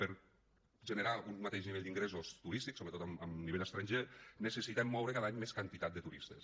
per generar un mateix nivell d’ingressos turístics sobretot en nivell estranger necessitem moure cada any més quantitat de turistes